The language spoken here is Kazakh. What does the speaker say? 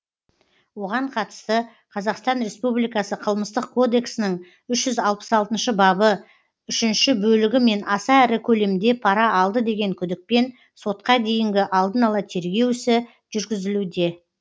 оған қатысты қазақстан республикасы қылмыстық кодексінің үш жүз алпыс алтыншы бабы үшінші бөлігімен аса ірі көлемде пара алды деген күдікпен сотқа дейінгі алдын ала тергеу ісі жүргізілуде